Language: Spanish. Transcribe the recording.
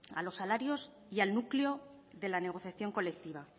a los salarios y al núcleo de la negociación colectiva